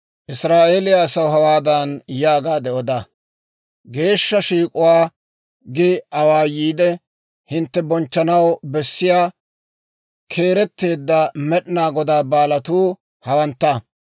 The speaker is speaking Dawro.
«Israa'eeliyaa asaw hawaadan yaagaade oda; ‹Geeshsha shiik'uwaa gi awaayiide, hintte bonchchanaw bessiyaa keeretteedda Med'inaa Godaa baalatuu hawantta.